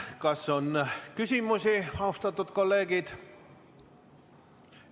Kas on küsimusi, austatud kolleegid?